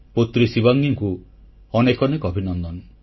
ପୁତ୍ରୀ ଶିବାଙ୍ଗୀକୁ ଅନେକ ଅନେକ ଅଭିନନ୍ଦନ